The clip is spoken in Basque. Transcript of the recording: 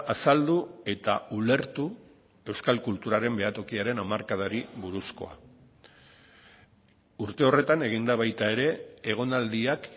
azaldu eta ulertu euskal kulturaren behatokiaren hamarkadari buruzkoa urte horretan egin da baita ere egonaldiak